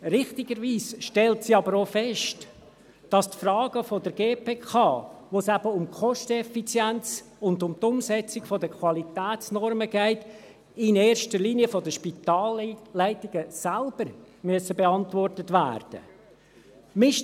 Richtigerweise stellt sie aber auch fest, dass die Fragen der GPK, bei denen es eben um die Kosteneffizienz und um die Umsetzung der Qualitätsnormen geht, in erster Linie von den Spitalleitungen selbst beantwortet werden müssen.